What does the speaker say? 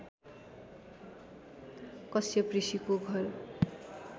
कश्यप ऋषिको घर